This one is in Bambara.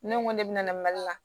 Ne ko ne bɛna na mali la